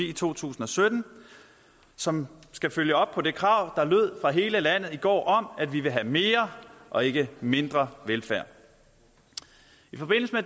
i to tusind og sytten som skal følge op på det krav der lød fra hele landet i går om at vi vil have mere og ikke mindre velfærd